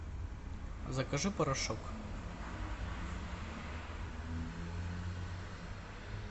закажи порошок